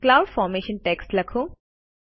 cloud formation text લખો